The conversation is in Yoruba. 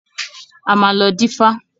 A máa lọ dífá.